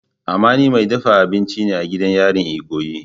Amani mai dafa abinci ne a gidan yarin ikoyi.